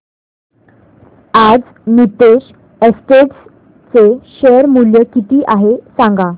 आज नीतेश एस्टेट्स चे शेअर मूल्य किती आहे सांगा